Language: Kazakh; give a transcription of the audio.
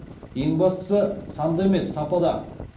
ең бастысы санда емес сапада